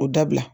O dabila